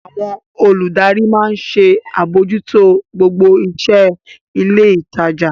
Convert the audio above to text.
Àwọn olùdarí maa ń ṣe àbójútó gbogbo iṣẹ́ ilé ìtajà.